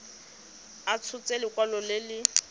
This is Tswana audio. a tshotse lekwalo le le